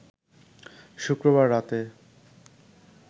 শুক্রবার রাতে